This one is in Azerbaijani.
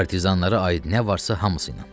Partizanlara aid nə varsa hamısı ilə.